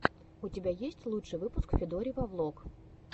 у тебя есть лучший выпуск федорива влог